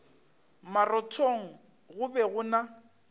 marothong go be go na